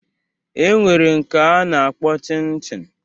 E nwere nke a na-akpọ Chin Chin